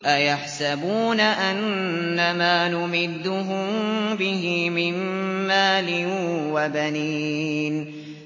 أَيَحْسَبُونَ أَنَّمَا نُمِدُّهُم بِهِ مِن مَّالٍ وَبَنِينَ